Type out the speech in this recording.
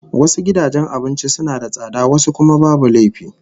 Wasu gidajen abincin suna da tsada wasu kuma babu laifi